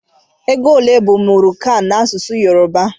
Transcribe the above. Égo olé bu mụri kan na-asụsụ Yoruba?